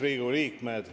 Riigikogu liikmed!